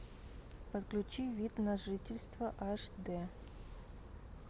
подключи вид на жительство аш дэ